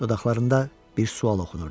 Dodaqlarında bir sual oxunurdu.